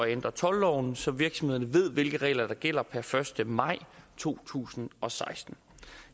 ændre toldloven så virksomhederne ved hvilke regler der gælder per første maj to tusind og seksten